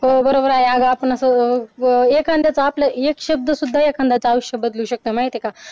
हो बरोबर आहे आपण असं एखाद्याचं आपलं एक शब्द सुद्धा एखाद्याचं आयुष्य बदलू शकतो माहिती आहे का.